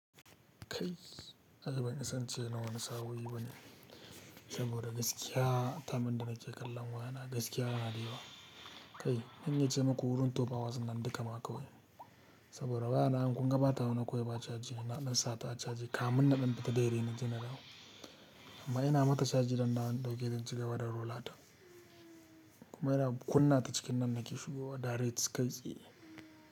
Kai, ai ban isa nace na wani sao'i bane saboda gaskiya, time din da nake kallon wayana gaskiya yana da yawa. Kai, zan iya ce maku wurin tuwaf ahours nan dukama kawai saboda waya nan kun ga bata wani kawai ba caji, na ɗan sa ta a caji kamun na ɗan fita daidai naje na dawo. Amma ina mata caji zan dawo na dauke don ci gaba da rula ta. Kuma ina kunna ta cikin nan nake shigowa direct kai tsaye.